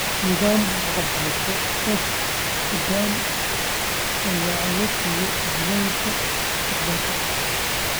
Nidaam waxbarasho oo xooggan ayaa awood siiya jiilalka mustaqbalka .